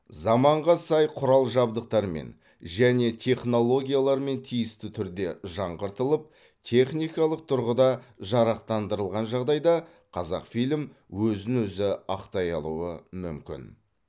заманға сай құрал жабдықтармен және технологиялармен тиісті түрде жаңғыртылып техникалық тұрғыда жарақтандырылған жағдайда қазақфильм өзін өзі ақтай алуы мүмкін